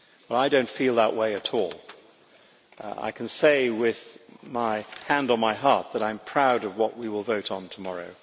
I do not feel that way at all. I can say with my hand on my heart that I am proud of what we will vote on tomorrow.